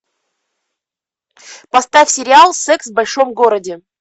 поставь сериал секс в большом городе